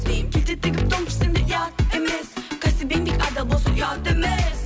кейін келте тігіп тон пішсең де ұят емес кәсіп еңбек адал болса ұят емес